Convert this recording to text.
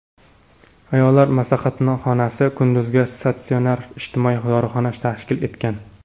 Ayollar maslahatxonasi, kunduzgi statsionar, ijtimoiy dorixona tashkil etilgan.